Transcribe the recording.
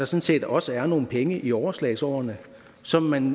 set også er nogle penge i overslagsårene som man